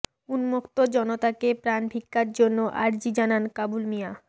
উন্মত্ত জনতাকে প্রাণ ভিক্ষার জন্য আর্জি জানান কাবুল মিয়া